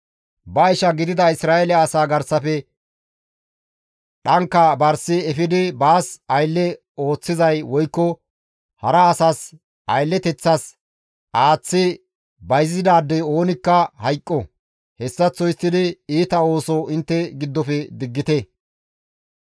Ba isha gidida Isra7eele asaa garsafe dhanka barsi efidi baas aylle ooththizay woykko hara asas aylleteththas aaththi bayzizaadey oonikka hayqo. Hessaththo histtidi iita ooso intte giddofe diggite.